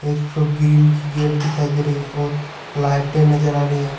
एक ठो ग्रिल की गेट दिखाई दे रही है और लाइटें नजर आ रही है।